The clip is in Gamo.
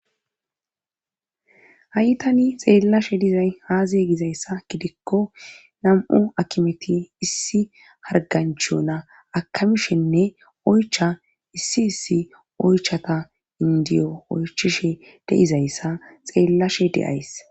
hayi tani xeellashe dizay haaze gizayssa gidikko nam7u akimeti issi harganchona akamishenne oycha issi issi oychata indiyo oychishe de7izayssa xeellashe de7ays